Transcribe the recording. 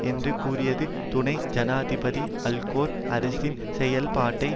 என்று கூறியது துணை ஜனாதிபதி அல்கோர் அரசின் செயல்பாட்டை